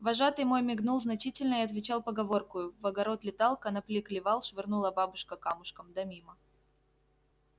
вожатый мой мигнул значительно и отвечал поговоркою в огород летал конопли клевал швырнула бабушка камушком да мимо